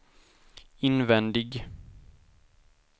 invändig